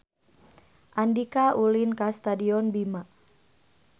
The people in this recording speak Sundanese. Andika ulin ka Stadion Bima